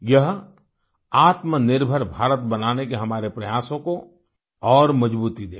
यह आत्मनिर्भर भारत बनाने के हमारे प्रयासों को और मजबूती देगा